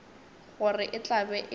gore e tla be e